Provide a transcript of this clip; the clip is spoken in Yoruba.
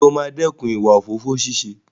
Ǹjẹ́ o máa dẹ́kun ìwà òfófó ṣíṣe?